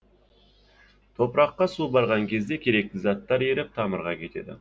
топыраққа су барған кезде керекті заттар еріп тамырға кетеді